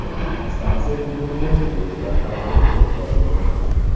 Stansiya hududida poyezdlar harakati to‘xtatildi.